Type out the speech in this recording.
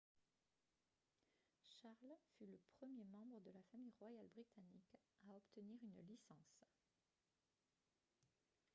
charles fut le premier membre de la famille royale britannique à obtenir une licence